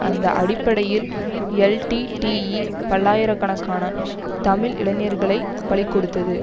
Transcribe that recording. அந்த அடிப்படையில் எல்டிடிஇ பல்லாயிர கணக்கான தமிழ் இளைஞர்களை பலி கொடுத்தது